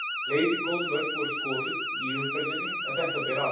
Fleiri góð mörk voru skoruð í umferðinni en þetta ber af.